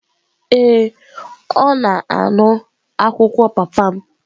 Ee, ọ na-anụ akụkọ papa m.